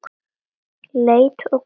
Leit og könnun